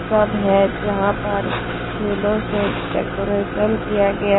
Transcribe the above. सब हैं जहां पर फूलों से डेकोरेशन किया गया--